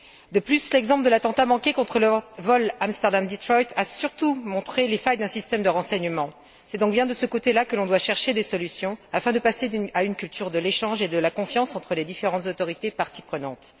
De plus, l'exemple de l'attentat manqué contre le vol Amsterdam Detroit a surtout montré les failles d'un système de renseignements. C'est donc bien de ce côté là que l'on doit chercher des solutions afin de passer à une culture de l'échange et de la confiance entre les différentes autorités et parties prenantes.